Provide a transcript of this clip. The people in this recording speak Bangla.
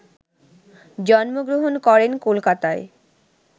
জন্মগ্রহণ করেন কলকাতায়